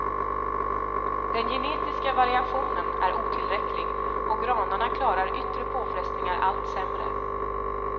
Den genetiska variationen är otillräcklig och granarna klarar yttre påfrestningar allt sämre.